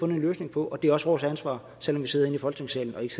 nogle løsninger på og det er også vores ansvar selv om vi sidder inde i folketingssalen og ikke